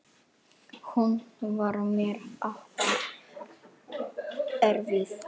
Hún var mér afar erfið.